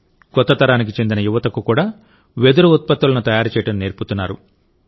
కొత్త తరానికి చెందిన యువతకు కూడా వెదురు ఉత్పత్తులను తయారు చేయడం నేర్పుతున్నారు